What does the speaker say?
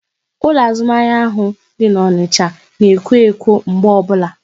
Ụlọ azụmahịa ahụ dị n'Onicha na ekwo ekwo mgbe ọbụla